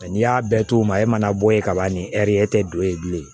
n'i y'a bɛɛ to u ma e mana bɔ yen ka ban ni e tɛ don yen bilen